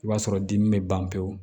I b'a sɔrɔ dimi bɛ ban pewu